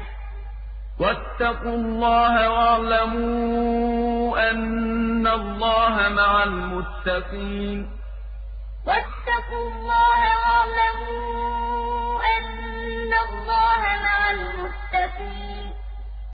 ۚ وَاتَّقُوا اللَّهَ وَاعْلَمُوا أَنَّ اللَّهَ مَعَ الْمُتَّقِينَ الشَّهْرُ الْحَرَامُ بِالشَّهْرِ الْحَرَامِ وَالْحُرُمَاتُ قِصَاصٌ ۚ فَمَنِ اعْتَدَىٰ عَلَيْكُمْ فَاعْتَدُوا عَلَيْهِ بِمِثْلِ مَا اعْتَدَىٰ عَلَيْكُمْ ۚ وَاتَّقُوا اللَّهَ وَاعْلَمُوا أَنَّ اللَّهَ مَعَ الْمُتَّقِينَ